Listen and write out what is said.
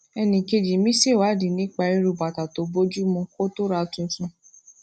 enikeji mi ṣèwádìí nípa irú bàtà tó bójú mu kó tó ra tuntun